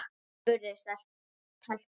spurði telpan.